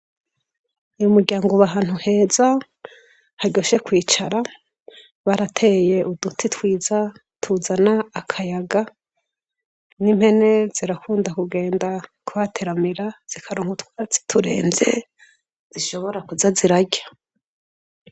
Uyu muryango uba ahantu hezaharyoshe kwicara. Barateye uduti twiza tuzana akayaga; n'impene zirakunda kugenda kuhateramira zikaronka utwaratsi turemvye zishobora kuza zirarya.